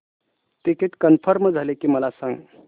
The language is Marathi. टिकीट कन्फर्म झाले की मला सांग